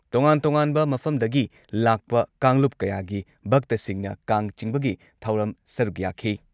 ꯇꯣꯉꯥꯟ ꯇꯣꯉꯥꯟꯕ ꯃꯐꯝꯗꯒꯤ ꯂꯥꯛꯄ ꯀꯥꯡꯂꯨꯞ ꯀꯌꯥꯒꯤ ꯚꯛꯇꯁꯤꯡꯅ ꯀꯥꯡ ꯆꯤꯡꯕꯒꯤ ꯊꯧꯔꯝ ꯁꯔꯨꯛ ꯌꯥꯈꯤ ꯫